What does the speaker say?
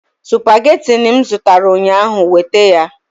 Supagetii m zụtara ụnyaahụ weta ya!